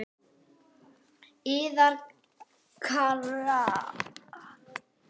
Yðar Richard